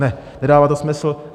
Ne, nedává to smysl.